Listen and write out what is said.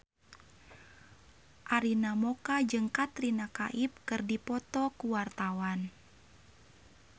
Arina Mocca jeung Katrina Kaif keur dipoto ku wartawan